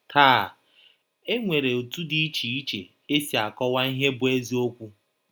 Taa, e nwere ọtụ dị iche iche e si akọwa ihe bụ́ eziọkwụ.